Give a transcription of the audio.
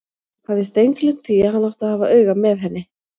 Hafði steingleymt því að hann átti að hafa auga með henni!